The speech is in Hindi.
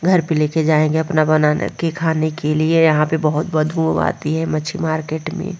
घर पे ले के जाएँगे अपना बना के खाने के लिए यहाँ पे बहुत बदबू आती है मच्छी मार्केट में।